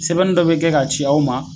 Sɛbɛnni dɔ be kɛ ka ci aw ma